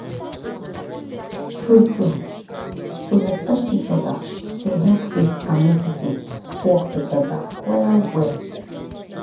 true-true to respect each other dey help faith and medicine work together well well.